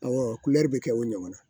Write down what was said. Ɔwɔ kulɛri bɛ kɛ o ɲɔgɔnna